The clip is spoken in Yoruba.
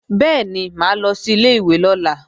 Bẹ́ẹ̀ni, mà á lọ sí ilé-ìwé lọ́la